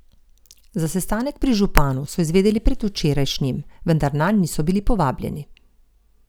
Za sestanek pri županu so izvedeli predvčerajšnjim, vendar nanj niso bili povabljeni.